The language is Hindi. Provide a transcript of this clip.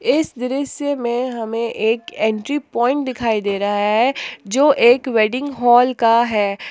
इस दृश्य में हमें एक एग्जिट पॉइंट दिखाई दे रहा है जो एक वेडिंग हॉल का है।